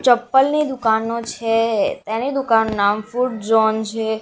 ચપ્પલની દુકાનો છે તેની દુકાનનું નામ ફૂટ ઝોન છે.